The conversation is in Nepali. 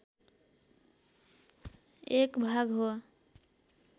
एक भाग हो